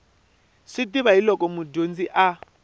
swi tiva hiolko mudyondzi a